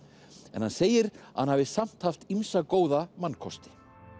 en hann segir að hann hafi samt haft ýmsa góða mannkosti